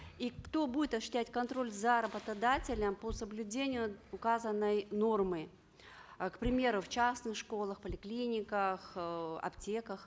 и кто будет осуществлять контроль за работодателем по соблюдению указанной нормы э к примеру в частных школах поликлиниках э аптеках